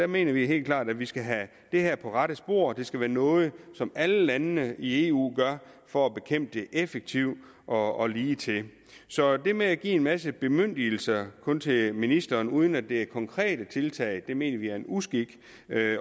mener vi helt klart at vi skal have det her på rette spor det skal være noget som alle landene i eu gør for at bekæmpe træ effektivt og ligetil så det med at give en masse bemyndigelser kun til ministeren uden at det er konkrete tiltag mener vi er en uskik